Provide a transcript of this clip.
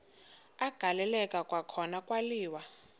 agaleleka kwakhona kwaliwa